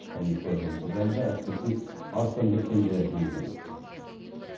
комиссия жұмысы жайында әріптесім арыстанбек кенже әңгімелейді